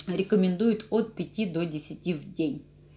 рекомендует от пяти до десяти в день